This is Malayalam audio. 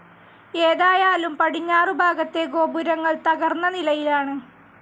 ഏതായാലും പടിഞ്ഞാറുഭാഗത്തെ ഗോപുരങ്ങൾ തകർന്ന നിലയിലാണ്.